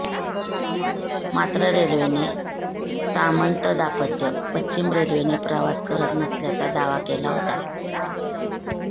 मात्र रेल्वेने सामंत दाम्पत्य पश्चिम रेल्वेने प्रवास करत नसल्याचा दावा केला होता